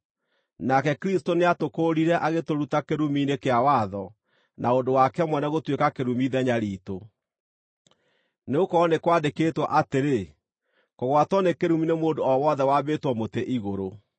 Nake Kristũ nĩatũkũũrire agĩtũruta kĩrumi-inĩ kĩa watho na ũndũ wake mwene gũtuĩka kĩrumi ithenya riitũ, nĩgũkorwo nĩ kwandĩkĩtwo atĩrĩ, “Kũgwatwo nĩ kĩrumi nĩ mũndũ o wothe wambĩtwo mũtĩ-igũrũ.”